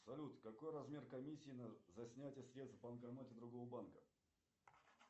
салют какой размер комиссии за снятие средств в банкомате другого банка